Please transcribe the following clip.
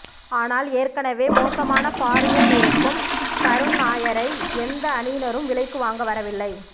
ஆனால் ஏற்கெனவே மோசமான ஃபார்மில் இருக்கும் கருண் நாயரை எந்த அணியினரும் விலைக்கு வாங்க வரவில்லை